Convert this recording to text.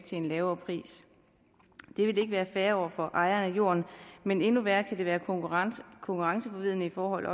til en lavere pris det vil ikke være fair over for ejeren af jorden men endnu værre er det være konkurrenceforvridende i forhold